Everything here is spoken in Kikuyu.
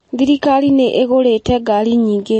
Thirikari nĩ ĩgũrĩte ngaari nyingĩ.